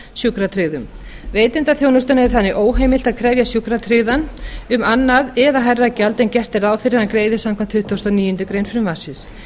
sjúkratryggðum veitanda þjónustunnar er þannig óheimilt að krefja sjúkratryggðan um annað eða hærra gjald en gert er ráð fyrir að hann greiði samkvæmt tuttugustu og níundu grein frumvarpsins